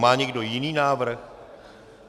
Má někdo jiný návrh?